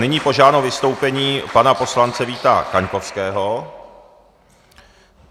Nyní požádám o vystoupení pana poslance Víta Kaňkovského.